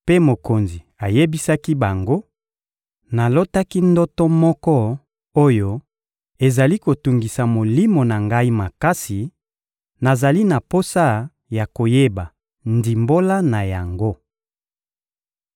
mpe mokonzi ayebisaki bango: — Nalotaki ndoto moko oyo ezali kotungisa molimo na ngai makasi; nazali na posa ya koyeba ndimbola na yango.